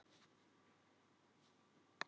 Við myndum spila saman.